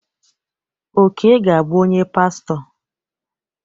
Oke ga-abụ onye pastọ.